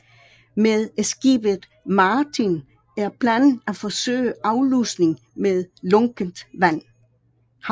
Med skibet Martin er planen at forsøge aflusning med lunkent havvand